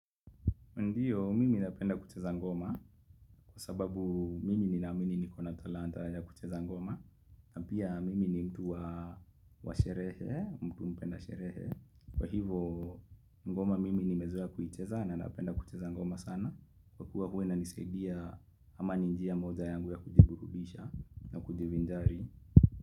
Ndiyo, mimi napenda kucheza ngoma, kwa sababu mimi ninaamimi niko na talanta ya kucheza ngoma. Na pia mimi ni mtu wa sherehe, mtu mpenda sherehe. Kwa hivo, ngoma mimi nimezoea kuicheza na napenda kucheza ngoma sana. Kwa kuwa huwa inanisadia kama ni njia moja yangu ya kujiburubisha na kujivinjari.